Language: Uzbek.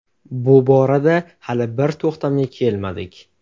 Bu borada hali bir to‘xtamga kelmadik.